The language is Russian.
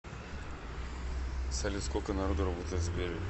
салют сколько народу работает в сбере